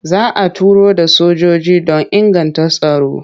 Za a turo da sojoji don inganta tsaro.